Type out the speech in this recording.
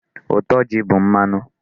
Ụtọ ji bụ mmanụ.